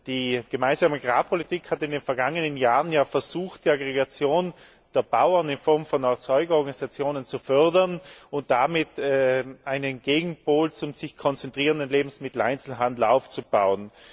Die gemeinsame Agrarpolitik hat in den vergangenen Jahren versucht, die Aggregation der Bauern in Form von Erzeugerorganisationen zu fördern und damit einen Gegenpol zu dem sich konzentrierenden Lebensmitteleinzelhandel aufzubauen.